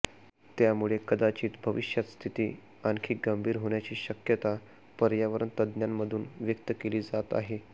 त्यामुळे कदाचित भविष्यात स्थिती आणखी गंभीर होण्याची शक्यता पर्यावरण तज्ज्ञांमधून व्यक्त केली जात आहे